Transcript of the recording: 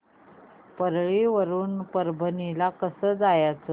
परळी वरून परभणी ला कसं जायचं